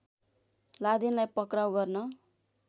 लादेनलाई पक्राउ गर्न